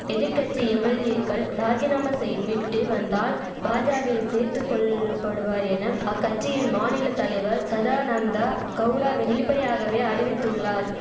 எதிர் கட்சி எம்எல்ஏக்கள் ராஜினாமா செய்த் விட்டு வந்தால் பாஜாவில் சேர்த்து கொள்ளப்படுவார் எனம் அக்கட்சியின் மாநில தலைவர் சதானந்தா கவுடா வெளிப்படையாகவே அறிவித்துள்ளார்